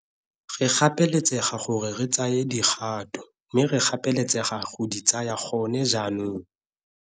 Re gapeletsega gore re tsaye dikgato mme re gapeletsega go di tsaya gone jaanong.